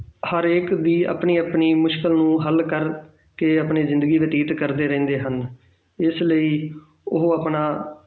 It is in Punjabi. ਹਰੇਕ ਦੀ ਆਪਣੀ ਆਪਣੀ ਮੁਸ਼ਕਲ ਨੂੰ ਹੱਲ ਕਰਕੇ ਆਪਣੀ ਜ਼ਿੰਦਗੀ ਬਤੀਤ ਕਰਦੇ ਰਹਿੰਦੇ ਹਨ, ਇਸ ਲਈ ਉਹ ਆਪਣਾ